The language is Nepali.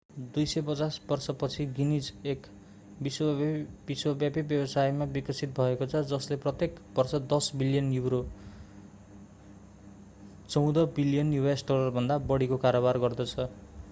250 वर्षपछि गिनीज एक विश्वव्यापी व्यवसायमा विकसित भएको छ जसले प्रत्येक बर्ष 10 बिलियन युरो us$14.7 बिलियनभन्दा बढीको कारोबार गर्दछ।